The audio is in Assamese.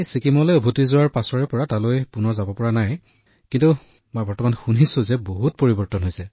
ড০ মদন মণিঃ জী প্ৰধানমন্ত্ৰীজী মই ছিকিমলৈ উভতি অহাৰ পিছৰে পৰা ভ্ৰমণ কৰিবলৈ সক্ষম হোৱা নাই কিন্তু মই শুনিছো যে বহুত পৰিৱৰ্তন হৈছে